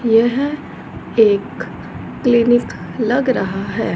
यह एक क्लीनिक लग रहा है।